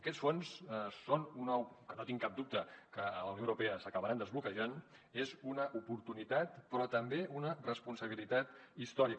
aquests fons que no tinc cap dubte que a la unió europea s’acabaran desbloquejant són una oportunitat però també una responsabilitat històrica